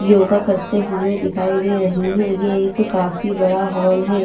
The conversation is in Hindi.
योगा करते हुए दिखाई दे रही है ये एक काफी बड़ा हॉल है।